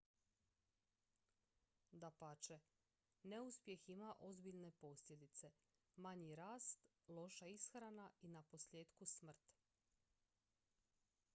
dapače neuspjeh ima ozbiljne posljedice manji rast loša ishrana i naposljetku smrt